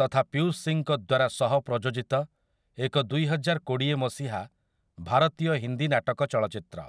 ତଥା ପୀୟୂଷ୍ ସିଂଙ୍କ ଦ୍ୱାରା ସହପ୍ରଯୋଜିତ ଏକ ଦୁଇହଜାରକୋଡ଼ିଏ ମସିହା ଭାରତୀୟ ହିନ୍ଦୀ ନାଟକ ଚଳଚ୍ଚିତ୍ର ।